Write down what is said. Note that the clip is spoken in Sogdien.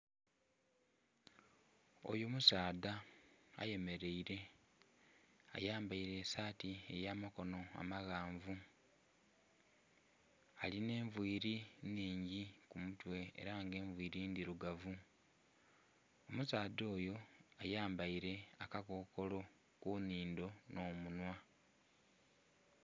Oyo musaadha ayemeleile, ayambaile esaati ey'amakono amaghanvu. Alina envili nnhingi ku mutwe ela nga envili ndhilugavu. Omusaadha oyo ayambaile akakokolo ku nnhindo nh'omunhwa.